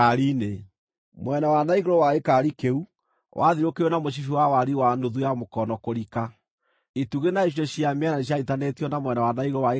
Mwena wa na igũrũ wa gĩkaari kĩu wathiũrũrũkĩirio na mũcibi wa wariĩ wa nuthu ya mũkono kũrika. Itugĩ na icunjĩ cia mĩena nĩcianyiitithanĩtio na mwena wa na igũrũ wa gĩkaari kĩu.